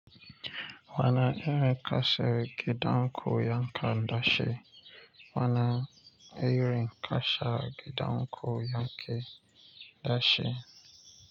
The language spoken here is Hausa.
Wani irin kasa gidan ku yake da shi? Wani irin kasa gidan ku ya ke da shi?